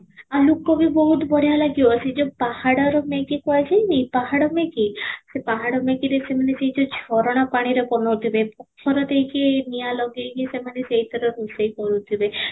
ଆଉ ଲୋକ ବି ବହୁତ ବଢିଆ ଲାଗିବ ସେଇ ଯଉ ପାହାଡ଼ର maggie କହିଲି ପାହାଡ଼ maggie ସେ ପାହାଡ଼ maggie ରୁ ସେଣମାନେ ସେଇ ଯଉ ଝରଣା ପାଣିରେ ବନଉ ଥିବେ ପଥର ଦେଇ କି ନିଆଁ ଲଗେଇ କି ସେମାନେ ସେଇଥିରୁ ରୋଷେଇ କରୁଥିବେ